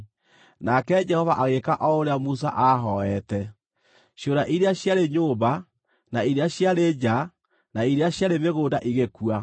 Nake Jehova agĩĩka o ũrĩa Musa aahooete. Ciũra iria ciarĩ nyũmba, na iria ciarĩ nja na iria ciarĩ mĩgũnda igĩkua.